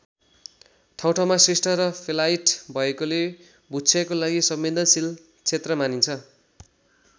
ठाउँठाउँमा शिष्ट र फेलाइट भएकोले भूक्षयको लागि संवेदनशील क्षेत्र मानिन्छ।